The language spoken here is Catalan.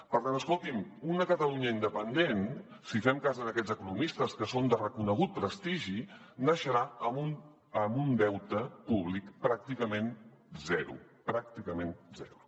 per tant escolti’m una catalunya independent si fem cas a aquests economistes que són de reconegut prestigi naixerà amb un deute públic pràcticament zero pràcticament zero